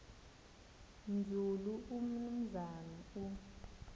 nzulu umnumzana u